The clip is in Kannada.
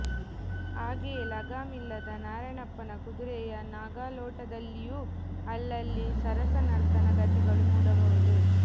ಹಾಗೆಯೇ ಲಗಾಮಿಲ್ಲದ ನಾರಣಪ್ಪನ ಕುದುರೆಯ ನಾಗಾಲೋಟದಲ್ಲಿಯೂ ಅಲ್ಲಲ್ಲಿ ಸರಸನರ್ತನ ಗತಿಗಳು ಮೂಡಬಹುದು